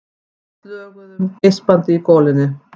Við slöguðum geispandi í golunni.